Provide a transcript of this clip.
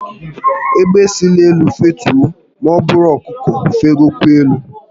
Egbe si n'elu fetue ma buru ọkụkọ fegokwa elu